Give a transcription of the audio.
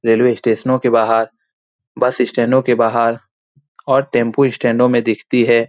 Railway स्टेशनों के बाहर बस स्टैंडो के बाहर और टैम्पू स्टैंडो में दिखती है।